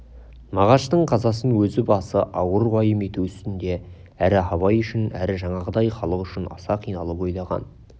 мағаштың қазасын өз басы ауыр уайым ету үстінде әрі абай үшін әрі жаңағыдай халық үшін аса қиналып ойлаған